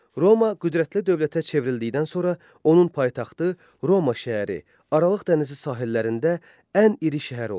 Roma qüdrətli dövlətə çevrildikdən sonra onun paytaxtı Roma şəhəri, Aralıq dənizi sahillərində ən iri şəhər oldu.